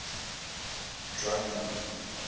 drunman